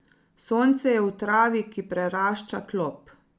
Sonce je v travi, ki prerašča klop.